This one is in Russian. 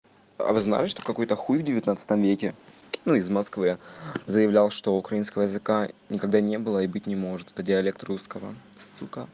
а вы знали что какой-то хуй в девятнадцатом веке ну из москвы заявлял что украинского языка никогда не было и быть не может это диалект русского сука